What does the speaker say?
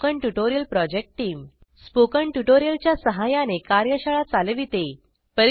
spoken tutorial project team spoken tutorial च्या सहाय्याने कार्यशाळा चालविते